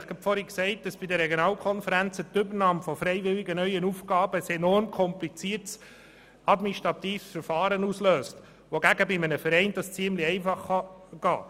Ich habe eben erwähnt, dass bei den Regionalkonferenzen die Übernahme von freiwilligen neuen Aufgaben ein enorm kompliziertes administratives Verfahren auslöst, wohingegen dies bei einem Verein ziemlich einfach ablaufen kann.